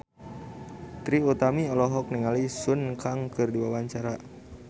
Trie Utami olohok ningali Sun Kang keur diwawancara